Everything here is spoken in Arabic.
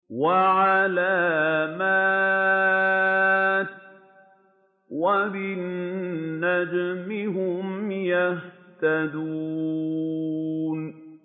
وَعَلَامَاتٍ ۚ وَبِالنَّجْمِ هُمْ يَهْتَدُونَ